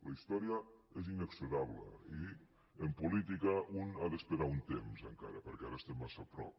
la història és inexorable i en política un ha d’esperar un temps encara perquè ara estem massa a prop